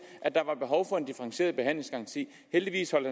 at der var behov for en differentieret behandlingsgaranti heldigvis holdt